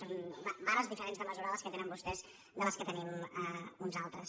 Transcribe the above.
són vares diferents de mesurar les que tenen vostès de les que tenim uns altres